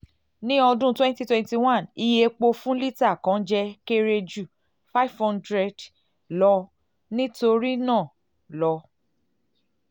ni ọdun twenty twenty one iye epo epo epo fun lita kan jẹ kere ju um five hundred lọ nitorinaa lọ